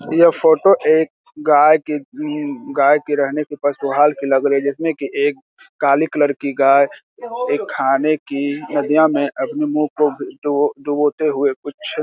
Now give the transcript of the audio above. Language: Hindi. यह फोटो एक गाय की गाय की रहने की लग रही है जिसमे की एक काली कलर की गाय एक खाने की नदियां मे अपने मुंह को डुबो-डुबोते हुए कुछ --